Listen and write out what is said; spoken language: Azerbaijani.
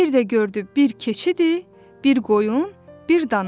Bir də gördü bir keçidi, bir qoyun, bir dana.